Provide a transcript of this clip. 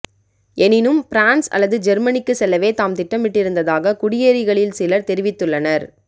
எனினும் பிரான்ஸ் அல்லது ஜெர்மனிக்கு செல்லவே தாம் திட்டமிட்டிருந்ததாக குடியேறிகளில்சிலர் தெரிவித்துள்ளனர்